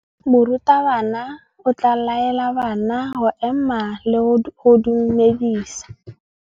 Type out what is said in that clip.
Morutabana o tla laela bana go ema le go go dumedisa.